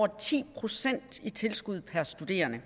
ti procent i tilskud per studerende